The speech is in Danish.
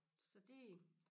Så det